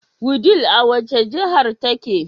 Wudil a wace jahar take